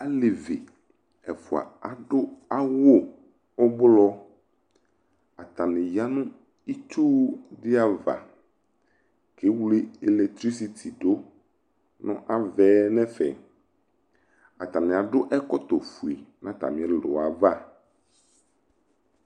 Alevi ɛfʋa adʋ awʋ ʋblɔ Atanɩ ya nʋ itsu dɩ ava kewle elɛktrisiti dʋ nʋ ava yɛ nʋ ɛfɛ Atanɩ adʋ ɛkɔtɔfue nʋ atamɩ ɛlʋ yɛ ava